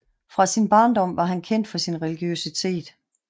Fra sin barndom var han kendt for sin religiøsitet